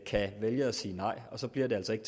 kan vælge at sige nej og så bliver det altså ikke